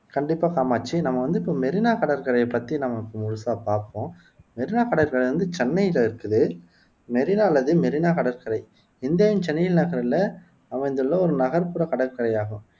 கண்டிப்பா காமாட்சி நம்ம வந்து இப்போ மெரீனா கடற்கரைய பத்தி நாம இப்போ முழுசா பாப்போம் மெரீனா கடற்கரை வந்து சென்னைல இருக்குது மெரீனா அல்லது மெரினா கடற்கரை இந்தியாவின் சென்னையின் நகரில அமைந்துள்ள ஒரு நகர்ப்புறக் கடற்கரை ஆகும்